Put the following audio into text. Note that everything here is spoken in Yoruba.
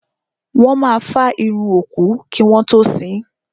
Wọ́n máa fá irun òkú kí wọ́n tó sín.